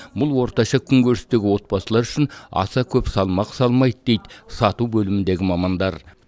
бұл орташа күнкөрістегі отбасылар үшін аса көп салмақ салмайды дейді сату бөліміндегі мамандар